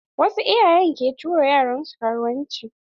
Wasu iyayen ke tura yaran su karuwanci.